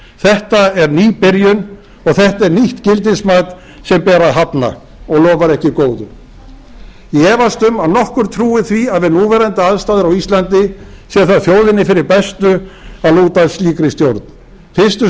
þetta er ný byrjun og þetta er nýtt gildismat sem ber að hafna og lofar ekki góðu ég efast um að nokkur trúi því að við núverandi aðstæður á íslandi sé það þjóðinni fyrir bestu að lúta slíkri stjórn fyrstu